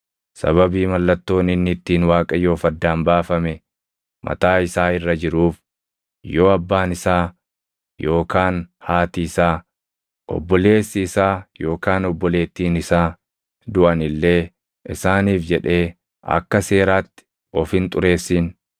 Sababii mallattoon inni ittiin Waaqayyoof addaan baafame mataa isaa irra jiruuf yoo abbaan isaa yookaan haati isaa, obboleessi isaa yookaan obboleettiin isaa duʼan illee isaaniif jedhee akka seeraatti of hin xureessin.